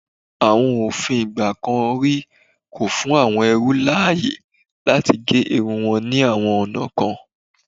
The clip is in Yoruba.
Àwọn òfin ìgbà kan rí kò fún àwọn ẹrú láàyè láti ge irun wọn ní àwọn ọ̀nà kan.